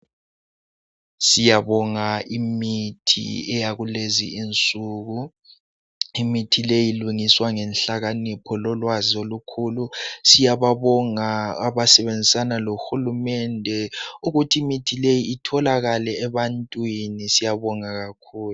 Siyabonga imithi eyakulezi insuku imithi le ilungiswa ngenhlakakanipho lolwazi olukhulu. Siyabonga abasebenzisana lohulumende ukuthi imithi leyi itholakale ebantwini siyabonga kakhulu.